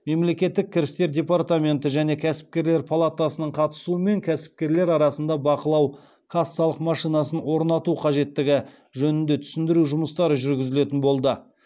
мемлекеттік кірістер департаменті және кәсіпкерлер палатасының қатысуымен кәсіпкерлер арасында бақылау кассалық машинасын орнату қажеттігі жөнінде түсіндіру жұмыстары жүргізілетін болды